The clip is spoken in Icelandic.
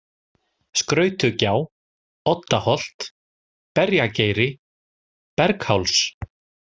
Skrautugjá, Oddaholt, Berjageiri, Bergháls